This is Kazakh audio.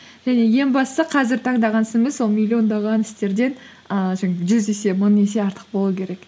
және ең бастысы қазір таңдаған ісіміз сол миллиондаған істерден ііі жаңағы жүз есе мың есе артық болуы керек